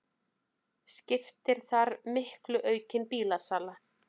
Skiptir þar miklu aukin bílasala